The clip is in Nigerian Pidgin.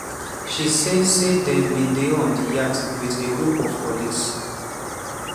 she say say dem bin dey on di yacht wit a group of colleagues.